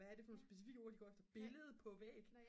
hvad er det for nogle specifikke ord de går efter billede på væg